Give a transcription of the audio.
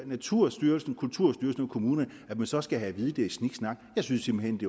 naturstyrelsen kulturstyrelsen og kommunerne at man så skal have at vide at det er sniksnak jeg synes simpelt hen